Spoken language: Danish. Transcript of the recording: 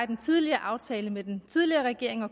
den tidligere aftale med den tidligere regering og